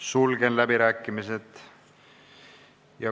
Sulgen läbirääkimised.